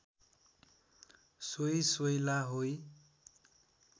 सोई सोइला होई